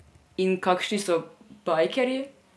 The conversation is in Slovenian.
In kakšni so bajkerji?